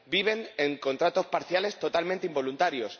viven con contratos parciales totalmente involuntarios.